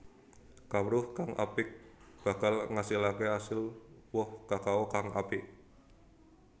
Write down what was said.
Kawruh kang apik bakal ngasilaké asil woh kakao kang apik